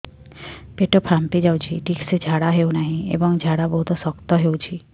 ପେଟ ଫାମ୍ପି ଯାଉଛି ଠିକ ସେ ଝାଡା ହେଉନାହିଁ ଏବଂ ଝାଡା ବହୁତ ଶକ୍ତ ହେଉଛି